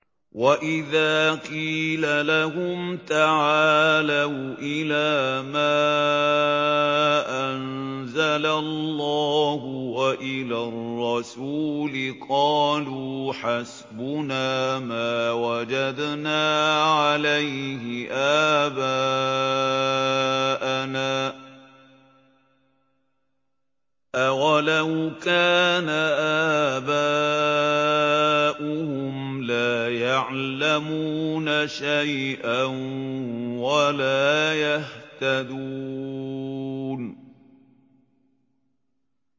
وَإِذَا قِيلَ لَهُمْ تَعَالَوْا إِلَىٰ مَا أَنزَلَ اللَّهُ وَإِلَى الرَّسُولِ قَالُوا حَسْبُنَا مَا وَجَدْنَا عَلَيْهِ آبَاءَنَا ۚ أَوَلَوْ كَانَ آبَاؤُهُمْ لَا يَعْلَمُونَ شَيْئًا وَلَا يَهْتَدُونَ